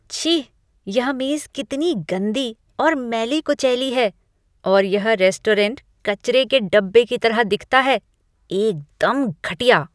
छी! यह मेज कितना गंदी और मैली कुचैली है और यह रेस्टोरेंट कचरे के डिब्बे की तरह दिखता है, एकदम घटिया!!